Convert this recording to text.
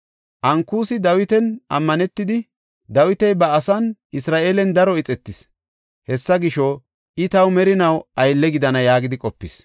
Ankusi Dawitan ammanetidi, “Dawiti ba asan, Isra7eelen daro ixetis; hesaa gisho, I taw merinaw aylle gidana” yaagidi qopis.